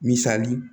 Misali